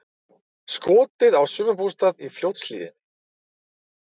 Skotið á sumarbústað í Fljótshlíðinni